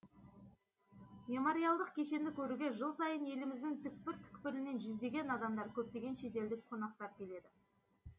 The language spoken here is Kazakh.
мемориалдық кешенді көруге жыл сайын еліміздің түпкір түпкірінен жүздеген адамдар көптеген шетелдік қонақтар келеді